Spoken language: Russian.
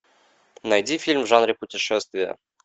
найди фильм в жанре путешествия